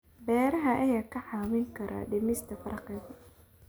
Beeraha ayaa kaa caawin kara dhimista faqriga.